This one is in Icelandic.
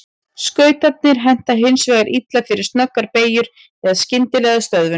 Skautarnir henta hins vegar illa fyrir snöggar beygjur eða skyndilega stöðvun.